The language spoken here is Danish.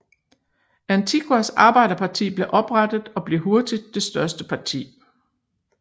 Antiguas Arbejderparti blev oprettet og blev hurtigt det største parti